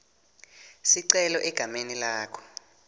sicelo egameni lakho